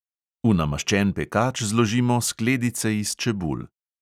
V namaščen pekač zložimo skledice iz čebul.